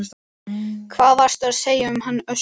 Hvað varstu að segja um hann Össur?